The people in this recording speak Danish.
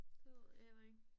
Det ved jeg heller ikke